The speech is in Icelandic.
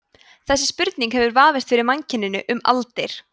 þessi spurning hefur vafist fyrir mannkyninu um aldir